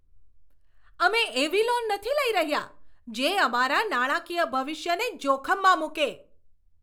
અમે એવી લોન નથી લઈ રહ્યા, જે અમારા નાણાકીય ભવિષ્યને જોખમમાં મૂકે!